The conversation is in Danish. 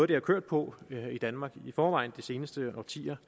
det har kørt på i danmark i forvejen i de seneste årtier